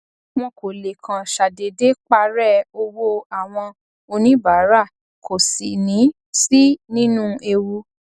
wọn kò lè kàn ṣàdédé parẹ owó àwọn oníbàárà kò sì ní sí nínú ewu